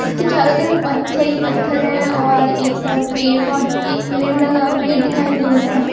इसकी चारों तरफ पत्थर ही पत्थर है और एक तरफ पेड़ पर एक पेड़ लगा पेड़ दिखाई दे रहा है।